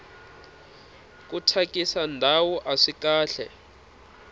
ku thyakisa ndhawu aswi kahle